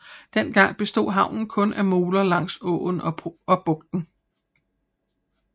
Dengang bestod havnen kun af moler langs åen og bugten